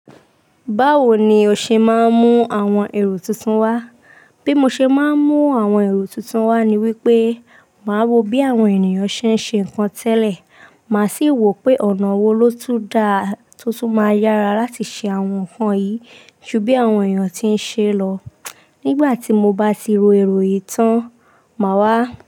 Báwo ni o ṣe máa ń mú àwọn èrò tuntun wá? Bí mo ṣe máa ń mú àwọn èrò tuntun wá ni wípé, màá wo bí àwọn ènìyàn ṣe ń ṣe nǹkan tẹ́lẹ̀, màá sì wò pé ọ̀nà wo ló tún dáa tí ó tún máa yára láti ṣe àwọn nǹkan yìí ju bí àwọn ènìyàn ti ń ṣe lọ. Nígbà tí mo bá ti ro èrò yìí tán, màá wá.